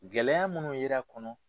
Gɛlɛya munnu yer'a kɔnɔ